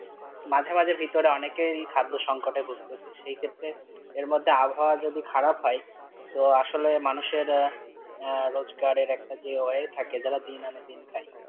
মাঝামাঝি ভিতরে অনেকেই খাদ্য সংকটে ভুগতেসে সেই ক্ষেত্রে এর মধ্যে আবহাওয়া যদি খারাপ হয়, তো আসলে মানুষের আঃ রোজগারের একটা যে way থাকে, যারা দিন আনে দিন খাই.